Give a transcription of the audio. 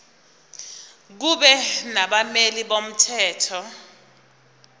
kube nabameli bomthetho